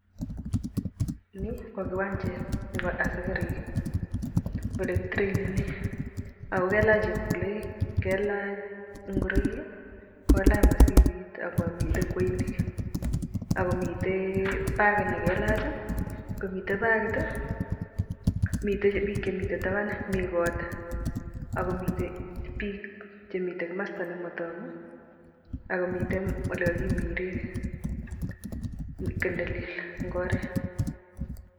Nii ko kiwanjet nebo asikarik oleki tireinenen ak ko kailach chepkuloik, kailach ing'oroik, kllach mosibit ak komiten kweinik ak komiten bakit neikalach komiten bakit, miten biik chemiten taban, mii koot ak komiten biik chemiten komosto nemotoku ak komiten olekokimire kii nelel eng' oret.